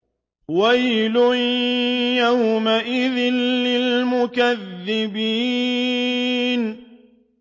وَيْلٌ يَوْمَئِذٍ لِّلْمُكَذِّبِينَ